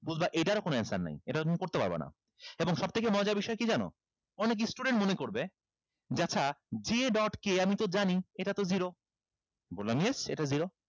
বুঝবা এটারও কোন answer নাই এটা তুমি করতে পারবা না এবং সবথেকে মজার বিষয় কি জানো অনেক student মনে করবে যে আচ্ছা j dot k আমি তো জানি এটাতো zero বললাম yes এটা zero